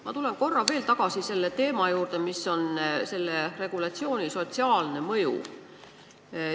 Ma tulen korra veel tagasi selle regulatsiooni sotsiaalse mõju juurde.